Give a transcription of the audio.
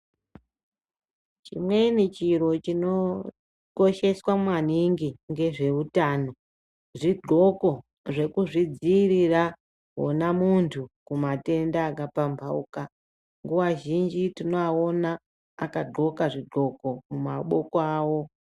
Chimweni chiro chinokosheswa maningi ngezveutano zvidhloko zvekuzvidziirira wonamuntu kumatenda akapamhauka nguwa zhinji tinoaona akadhloka zvidhloko mumaboko awo.